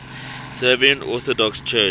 serbian orthodox church